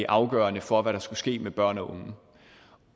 afgørende for hvad der skulle ske med børn